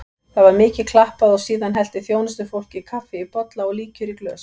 Það var mikið klappað og síðan hellti þjónustufólkið kaffi í bolla og líkjör í glös.